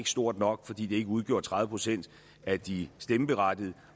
stort nok fordi det ikke udgjorde tredive procent af de stemmeberettigede